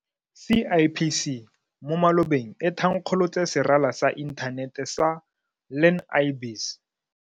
CIPC mo malobeng e tha nkgolotse serala sa inthanete sa Learn-i-Biz.